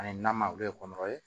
Ani nama olu ye kɔnɔ ye